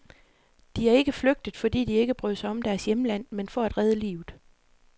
De er ikke flygtet, fordi de ikke brød sig om deres hjemland, men for at redde livet.